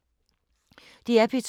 DR P2